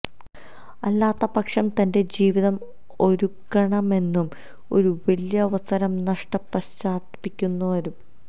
അല്ലാത്തപക്ഷം തന്റെ ജീവിതം ഒരുക്കണമെന്നും ഒരു വലിയ അവസരം നഷ്ടം പശ്ചാത്തപിക്കുന്നു വരും